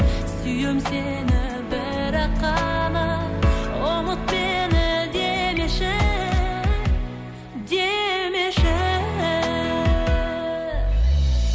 сүйем сені бірақ қана ұмыт мені демеші демеші